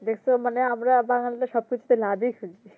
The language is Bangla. দেখছ মানে আমরা বাঙালিরা সবকিছুতে লাভই ফেলি